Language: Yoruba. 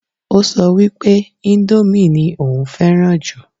Ó sọ wípé índómì ní òun fẹ́ràn jù